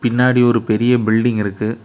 பின்னாடி ஒரு பெரிய பில்டிங் இருக்கு.